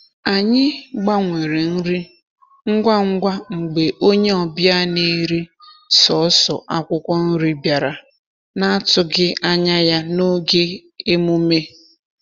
Anyị gbanwere nri ngwa ngwa mgbe onye ọbịa na-eri sọọsọ akwụkwọ nri bịara na-atụghị anya ya n’oge emume.